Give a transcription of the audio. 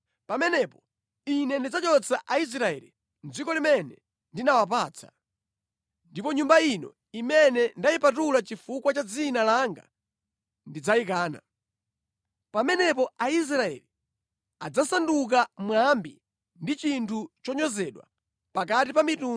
pamenepo Ine ndidzazula Aisraeli mʼdziko limene ndinawapatsa ndiponso ndidzayikana Nyumba ino imene ndayipatula chifukwa cha Dzina langa. Pamenepo Aisraeli adzasanduka mwambi ndi chinthu chonyozedwa pakati pa anthu onse.